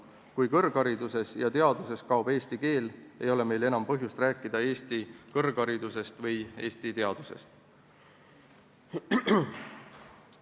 Kui kõrghariduses ja teaduses kaob eesti keel, ei ole meil enam põhjust rääkida eesti kõrgharidusest ega eesti teadusest.